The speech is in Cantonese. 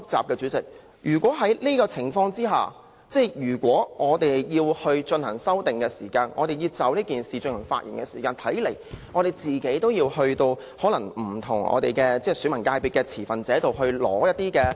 代理主席，如果在這個情況下，我們要進行修訂時，或議員要就《條例草案》發言時，看來也要向不同界別的持份者收集意見......